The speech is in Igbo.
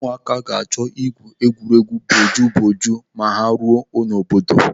Ụmụaka ga-achọ igwu egwuregwu boju boju ma ha ruo n'obodo.